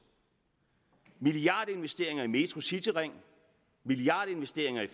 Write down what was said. milliardinvesteringer i metro cityring milliardinvesteringer i